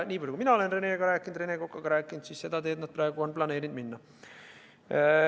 Ja nii palju, kui mina olen Rene Kokaga rääkinud, siis seda teed nad ongi praegu planeerinud minna.